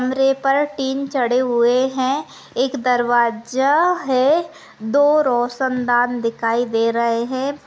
कमरे पर टिन छड़े हुये है एक दरवाजा है दो रोशनदान दिखाई दे रहे है।